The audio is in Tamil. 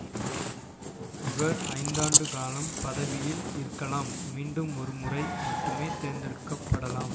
இவர் ஐந்தாண்டு காலம் பதவியில் இருக்கலாம் மீண்டும் ஒரு முறை மட்டுமே தேர்ந்தெடுக்க படலாம்